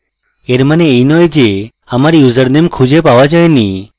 এর মানে এই নয় যে আমার username খুঁজে পাওয়া যায়নি